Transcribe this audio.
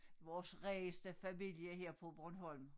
Vores rigeste familie her på Bornholm